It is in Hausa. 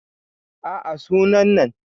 a a suna nan